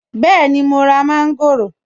Bẹ́ẹ̀ni mo ra mọ́ńgòrò.